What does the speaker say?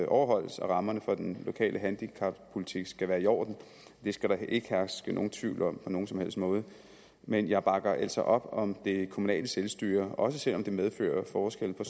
overholdes og rammerne for den lokale handicappolitik skal være i orden det skal der ikke herske nogen tvivl om på nogen som helst måde men jeg bakker altså op om det kommunale selvstyre også selv om det medfører forskelle på